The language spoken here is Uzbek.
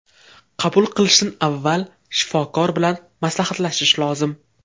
Qabul qilishdan avval shifokor bilan maslahatlashish lozim.